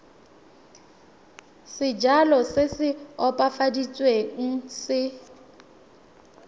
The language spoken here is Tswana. sejalo se se opafaditsweng se